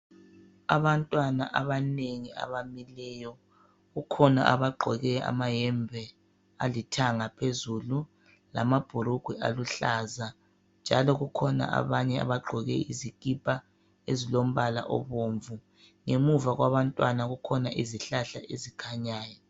Abantwana abanengi abamileyo kukhona abagqoke amayembe alithanga phezulu lamabhulugwe aluhlaza njalo kukhona abanye izikipa ezilombala obomvu. Ngemuva kwabantwana kukhona izihlahla ezikhanyayo.